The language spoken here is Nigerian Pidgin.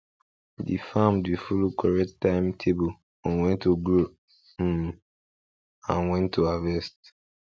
de farm dey follow correct time table on wen to grow um and wen to harvest